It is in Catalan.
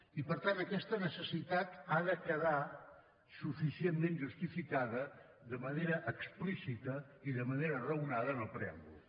i per tant aquesta necessitat ha de quedar suficientment justificada de manera explícita i de manera raonada en el preàmbul